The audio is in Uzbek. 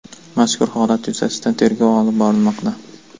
Mazkur holat yuzasidan tergov olib borilmoqda.